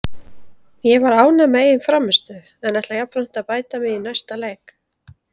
Ég var ánægð með eigin frammistöðu en ætla jafnframt að bæta mig í næsta leik.